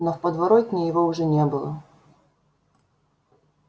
но в подворотне его уже не было